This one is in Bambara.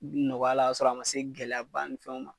Bi nɔgɔya la kasɔrɔ a ma se gɛlɛyaba ni fɛnw ma